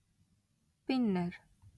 , பின்னர்